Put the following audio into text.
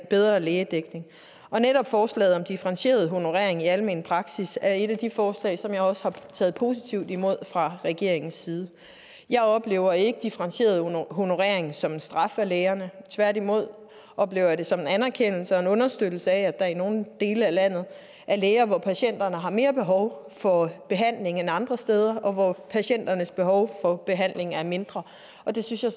bedre lægedækning og netop forslaget om differentieret honorering i almen praksis er et af de forslag som vi også har taget positivt imod fra regeringens side jeg oplever ikke differentieret honorering som en straf af lægerne tværtimod oplever jeg det som en anerkendelse og en understøttelse af at der i nogle dele af landet er læger hvis patienter har mere behov for behandling end andre steder hvor patienternes behov for behandling er mindre det synes jeg